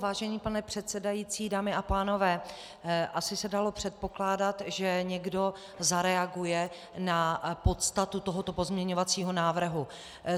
Vážený pane předsedající, dámy a pánové, asi se dalo předpokládat, že někdo zareaguje na podstatu tohoto pozměňovacího návrhu.